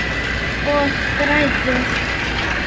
Og grætur.